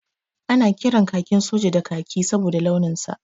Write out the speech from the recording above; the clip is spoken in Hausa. Ana kiran kakin soja da kaki saboda launin sa.